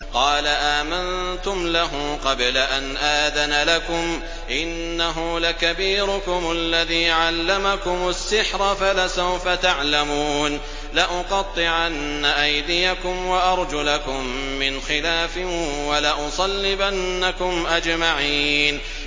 قَالَ آمَنتُمْ لَهُ قَبْلَ أَنْ آذَنَ لَكُمْ ۖ إِنَّهُ لَكَبِيرُكُمُ الَّذِي عَلَّمَكُمُ السِّحْرَ فَلَسَوْفَ تَعْلَمُونَ ۚ لَأُقَطِّعَنَّ أَيْدِيَكُمْ وَأَرْجُلَكُم مِّنْ خِلَافٍ وَلَأُصَلِّبَنَّكُمْ أَجْمَعِينَ